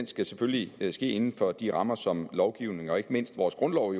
skal selvfølgelig ske inden for de rammer som lovgivningen og ikke mindst vores grundlov